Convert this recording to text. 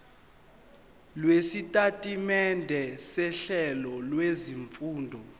lwesitatimende sohlelo lwezifundo